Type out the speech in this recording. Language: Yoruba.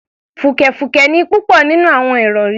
Fùkẹ̀fùkẹ̀ ni púpọ̀ nínú àwọn ìrọ̀rí